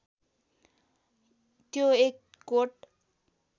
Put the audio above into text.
त्यो एक कोट